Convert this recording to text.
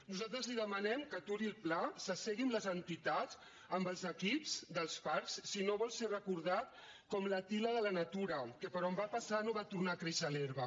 nosaltres li demanem que aturi el pla s’assegui amb les entitats amb els equips dels parcs si no vol ser recordat com l’àtila de la natura que per on va passar no va tornar a créixer l’herba